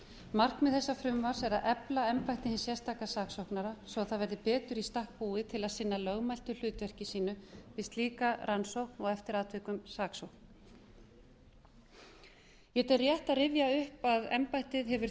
markmið þessa frumvarps er að efla embætti hins sérstaka saksóknara svo það verði betur í stakk búið til að sinna lögmætu hlutverki sínu við slíka rannsókn og eftir atvikum saksókn ég tel rétt að rifja upp að embættið hefur